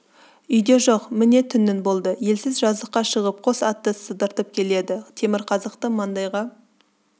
үйде жоқ міне түннің болды елсіз жазыққа шығып қос атты сыдыртып келеді темірқазыкты маңдайға